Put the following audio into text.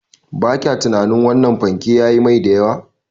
Ba kya tunanin wannan fanke yayi mai da yawa?